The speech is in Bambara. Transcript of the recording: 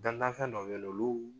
Dantan fɛn dɔw bɛ ye nɔ olu